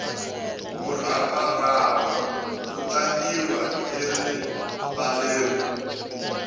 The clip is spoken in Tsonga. muravarava wu tlangiwa erivaleni